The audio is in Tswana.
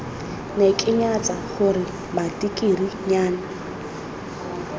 ne ke nyatsa gore matikirinyana